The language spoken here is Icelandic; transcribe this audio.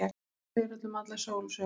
Hún segir honum alla sólarsöguna.